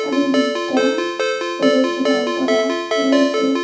চারিদিকটা পুরো ঘেরাও করা রয়েছে।